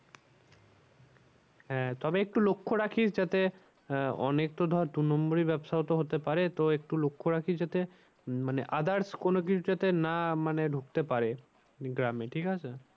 হ্যাঁ তবে একটু লক্ষ রাখিস যাতে আহ অনেক তো ধর দু নম্বরই ব্যবসাও তো হতে পারে তো একটু লক্ষ রাখিস যাতে মানে others কোন কিছু যাতে না মানে ঢুকতে পারে গ্রামে ঠিক আছে।